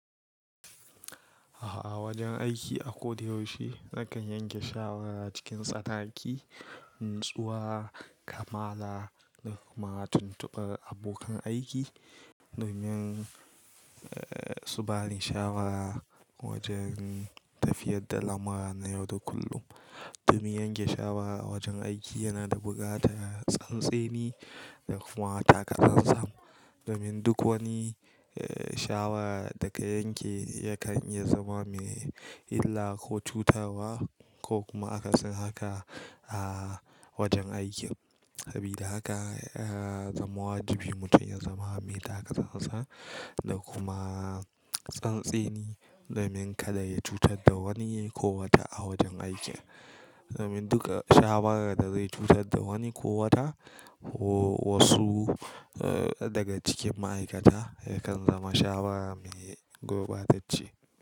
A wajan aiki a ko da yaushe nakan yanke shawara cikin tsanaki, natsuwa, kamala da kuma tuntubar abokan aiki domin su bani shawara wajen tafiyar da lamura na yau da kullum. Domin yanke shawara a wajen aiki yana da buƙatar tsantseni da kuma taka tsan-tsan, domin duk wani shawara da ka yanke yakan iya zama mai illa ko cutarwa ko kuma akasin haka a wajen aiki. Sabida haka ya zama wajibi mutum ya zama mai taka tsan-tsan da kuma tsantseni domin kada ya cutar da wani ko wata a wajen aiki. Domin duka shawarar da zai cutar da wani ko wata ko wasu daga cikin ma'aikata yakan zama shawara mai gurbatacce.